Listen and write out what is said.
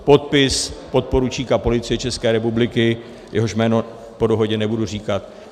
Podpis - podporučík Policie České republiky," jehož jméno po dohodě nebudu říkat.